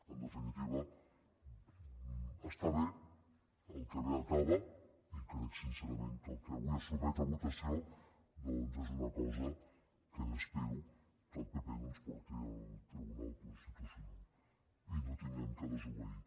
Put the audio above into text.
en definitiva està bé el que bé acaba i crec sincerament que el que avui es sotmet a votació doncs és una cosa que espero que el pp no ens porti al tribunal constitucional i no hàgim de desobeir